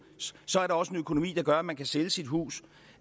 så er der også en økonomi der gør at man kan sælge sit hus